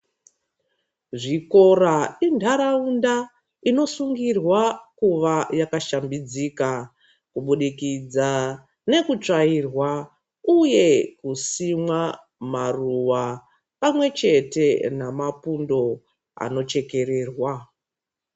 Zvikora inharaunda inosungirwa kuva yakashambidzika kubudikidza nekutsvairwa uye kusimwa maruwa pamwechete namapundo anochekererwa .